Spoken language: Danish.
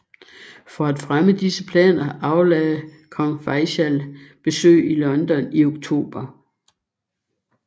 For at fremme disse planer aflagde Kong Faisal besøg i London i Oktober